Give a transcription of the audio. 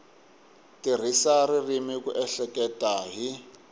tirhisa ririmi ku ehleketa hi